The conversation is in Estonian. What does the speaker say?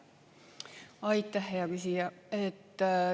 Aitäh, hea küsija!